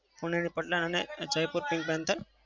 પુણેની paltan અને Jaipur pink panthers